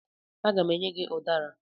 Aga m enye gị ụdara.